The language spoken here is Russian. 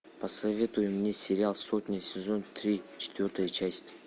посоветуй мне сериал сотня сезон три четвертая часть